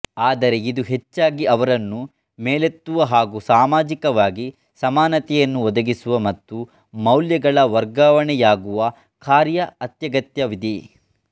ಆದರೆ ಇದು ಹೆಚ್ಚಾಗಿ ಅವರನ್ನು ಮೇಲೆತ್ತುವ ಹಾಗೂ ಸಾಮಾಜಿಕವಾಗಿ ಸಮಾನತೆಯನ್ನು ಒದಗಿಸುವ ಮತ್ತು ಮೌಲ್ಯಗಳ ವರ್ಗಾವಣೆಯಾಗುವ ಕಾರ್ಯ ಅತ್ಯಗತ್ಯವಿದೆ